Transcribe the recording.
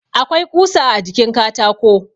Akwai ƙusa a jikin katako.